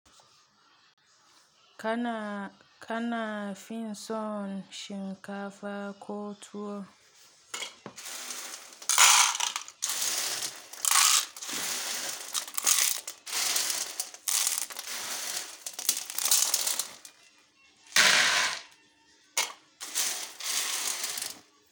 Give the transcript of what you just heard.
Kana finson shinkafa ko tuwo.